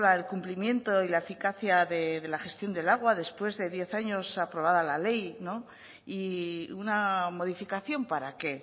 el cumplimiento y la eficacia de la gestión del agua después de diez años aprobada la ley y una modificación para qué